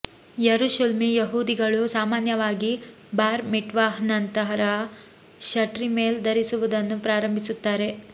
ಯರುಶುಲ್ಮಿ ಯಹೂದಿಗಳು ಸಾಮಾನ್ಯವಾಗಿ ಬಾರ್ ಮಿಟ್ವಾಹ್ನ ನಂತರ ಶಟ್ರೀಮೆಲ್ ಧರಿಸುವುದನ್ನು ಪ್ರಾರಂಭಿಸುತ್ತಾರೆ